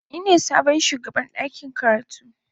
Ni ne sabon shugaban dakin karatu.